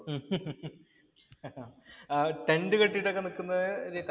ആ ടെന്‍ഡ് കെട്ടീട്ട് നിക്കുന്നത്